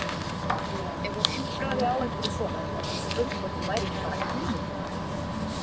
Ef hún impraði á einhverju svona var hún spurð hvort hún væri ekki bara ímyndunarveik.